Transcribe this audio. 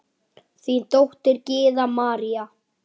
Þín dóttir, Gyða María.